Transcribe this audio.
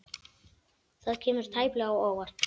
Það kemur tæplega á óvart.